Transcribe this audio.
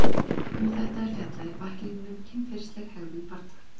um þetta er fjallað í bæklingnum kynferðisleg hegðun barna